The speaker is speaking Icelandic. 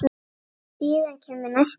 Síðan kemur næsti dagur.